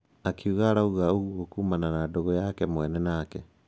Akiuga arauga ũguo kumana na ndũgũ yake mwene nake.